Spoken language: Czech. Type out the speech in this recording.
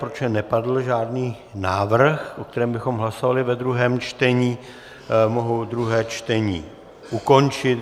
Protože nepadl žádný návrh, o kterém bychom hlasovali ve druhém čtení, mohu druhé čtení ukončit.